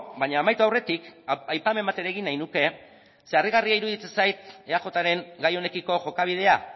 baina amaitu aurretik aipamen bat ere egin nahi nuke zeren harrigarria iruditzen zait eajren gai honekiko jokabidea